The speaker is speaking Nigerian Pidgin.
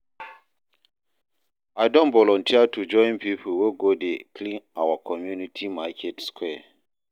I don volunteer to join pipo wey go dey clean our community market square.